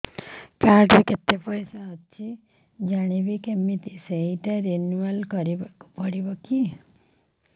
card ରେ କେତେ ପଇସା ଅଛି ଜାଣିବି କିମିତି ସେଟା ରିନୁଆଲ କରିବାକୁ ପଡ଼ିବ କି